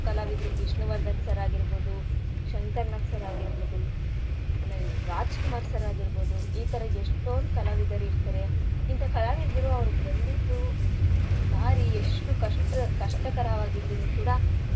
ಕಲಾವಿದ್ರು Vishnuvardhan sir ಆಗಿರ್ಬೋದು Shankar Nag sir ಆಗಿರ್ಬೋದು ಆಮೇಲೆ ರಾಜ್ ಕುಮಾರ್ sir ಆಗಿರ್ಬೋದು ಈತರ ಎಷ್ಟೋಂದ್ ಕಲಾವಿದರ್ ಇರ್ತಾರೆ. ಇಂಥ ಕಲಾವಿದ್ರು ಅವ್ರ್ ಬಂದಿದ್ದು ದಾರಿ ಎಷ್ಟು ಕಷ್ಟ್~ ಕಷ್ಟಕರವಾಗಿದ್ರೂನೂ ಕೂಡ.